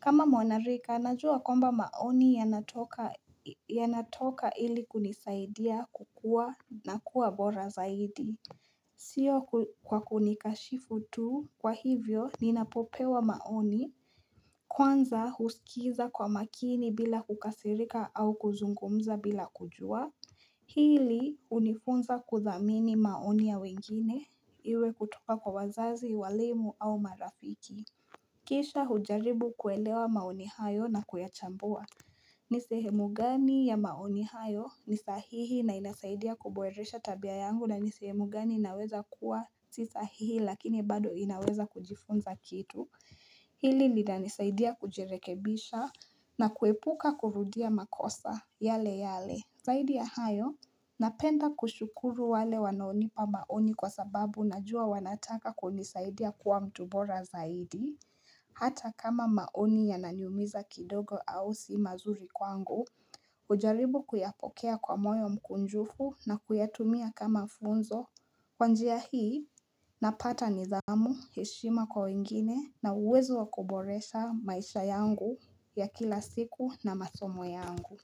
kama mwanarika najua kwamba maoni yanatoka ili kunisaidia kukua na kuwa bora zaidi Sio kwa kunikashifu tu kwa hivyo ninapopewa maoni Kwanza husikiza kwa makini bila kukasirika au kuzungumza bila kujua Hili unifunza kuthamini maoni ya wengine Iwe kutoka kwa wazazi, walimu au marafiki Kisha hujaribu kuelewa maoni hayo na kuyachambua ni sehemu gani ya maoni hayo ni sahihi na inasaidia kuboresha tabia yangu na ni sehemu gani naweza kuwa Si sahihi lakini bado inaweza kujifunza kitu Hili linanisaidia kujirekebisha na kuepuka kurudia makosa yale yale. Zaidi ya hayo, napenda kushukuru wale wanaonipa maoni kwa sababu najua wanataka kunisaidia kuwa mtu bora zaidi. Hata kama maoni yananiumiza kidogo au si mazuri kwangu, hujaribu kuyapokea kwa moyo mkunjufu na kuyatumia kama funzo. Kwa njia hii, napata nidhamu, heshima kwa wengine na uwezo wa kuboresha maisha yangu ya kila siku na masomo yangu.